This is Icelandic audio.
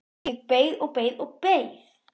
Ég beið og beið og beið!